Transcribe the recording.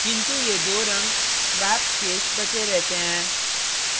किन्तु ये दो रंग swaps शेष बचे रहते हैं